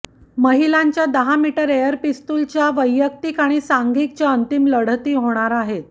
महिलांच्या दहा metre air पिस्तूलच्या वैयक्तिक आणि सांघिकच्या अंतिम लढतीही होणार आहेत